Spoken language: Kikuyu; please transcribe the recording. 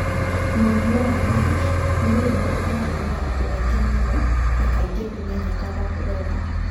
Mũrimũ wa NASH, nĩ mũrimũ ũkoragwo na andũ aingĩ mũno, na kaingĩ ndũmenyeka wega.